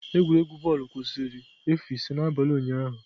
Egwuregwu bọọlụ kwụsịrị efu ise n'abalị ụnyahụ.